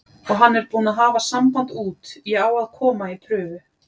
Og hann er búinn að hafa samband út, ég á að koma í prufu.